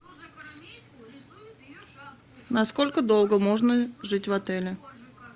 насколько долго можно жить в отеле